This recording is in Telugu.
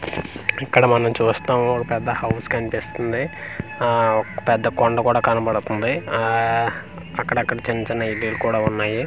ఇక్కడ మనం చూస్తున్నాము ఒక పెద్ద హౌస్ కనిపిస్తుంది ఆ పెద్ద ఒక పెద్ద కొండ కూడా కనపడుతుంది ఆఆ అకడక్కడ చిన్న చిన్న ఇల్లులు కూడా ఉన్నాయి.